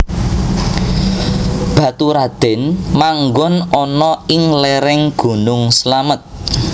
Baturadèn manggon ana ing léréng gunung Slamet